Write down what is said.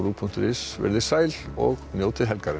punktur is veriði sæl og njótið helgarinnar